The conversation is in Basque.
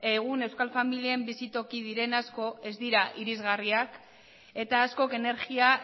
egun euskal familien bizitoki diren asko ez dira irisgarriak eta askok energia